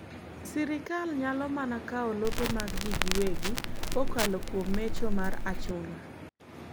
sirkal nyalo mana kawo lope mag jii giwegi kokalo kuom mecho mar achuna